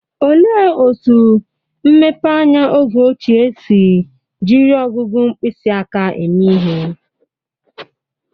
Olee otú mmepeanya oge ochie si jiri ọgụgụ mkpịsị aka eme ihe?